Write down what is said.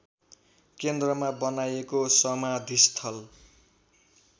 केन्द्रमा बनाइएको समाधिस्थल